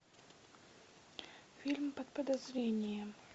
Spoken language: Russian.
фильм под подозрением